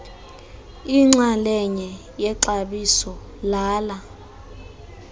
inxalenye yexabiso lala